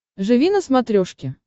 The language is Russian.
живи на смотрешке